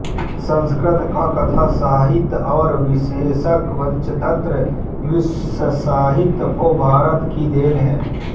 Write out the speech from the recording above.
संस्कृत का कथासाहित्य और विशेषत पंचतंत्र विश्वसाहित्य को भारत की देन है